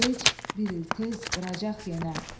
bir il gec, bir il tez qıracaq yenə.